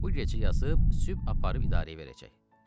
Bu gecə yazıb sübh aparıb idarəyə verəcək.